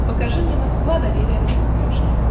покажи мне москва доверие на смотрешке